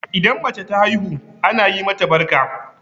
Idan mace ta haihu ana yi mata barka?